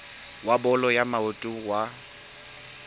wa bolo ya maoto wa